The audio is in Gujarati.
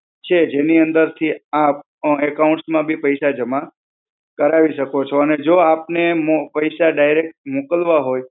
છે જેની અંદર થી આપ account માં બી પૈસા જમા કરાવી શકો છો. અને જો આપને મો પૈસા direct મોકલવા હોય,